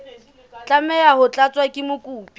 tlameha ho tlatswa ke mokopi